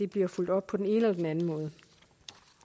bliver fulgt op på den ene eller den anden måde